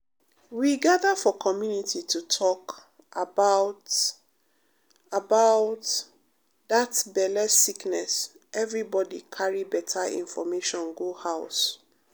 we gather for community to talk um about um um about um that belle sickness everybody carry better information go house.